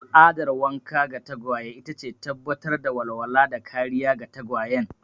Al'adar wanka ga tagwaye ita ce tabbatar da walwala da kariya ga tagwayen.